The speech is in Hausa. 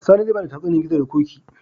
Sani zai bada tatsuniyar gizo da koki